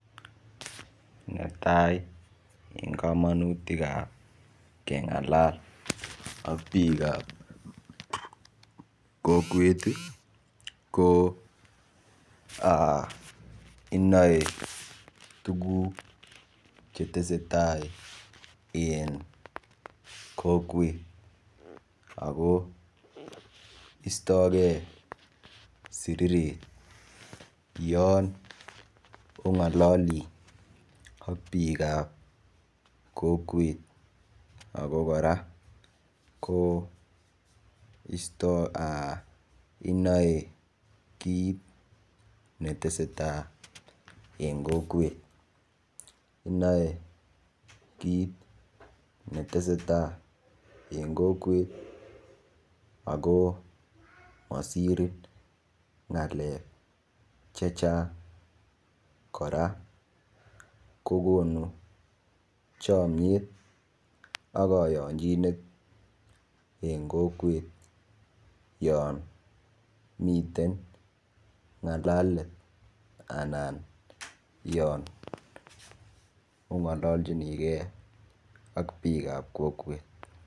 Netai eng kamanutik ap kengalal ak biik ap kokwet ko inoe tukuk che tesetai eng kokwet ako istokei siriret yon ongololi ak biik ap kokwet ako kora ko istoi inoe kiit netesetai eng kokwet inoe kiit netesetai ako masirin ng'alek che chang kora ko konu chomiet ak koyonchinet eng kokwet yon miten ngalalet anan yon ong'ololchinige ak biik ap kokwet.